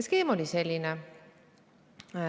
Skeem oli selline.